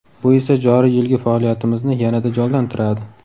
Bu esa joriy yilgi faoliyatimizni yanada jonlantiradi.